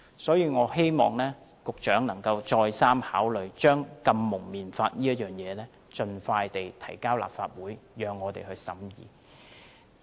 因此，我希望局長能再三考慮盡快將禁蒙面法提交立法會，讓我們審議。